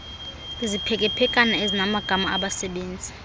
iziphekephekana ezinamagama abasebezi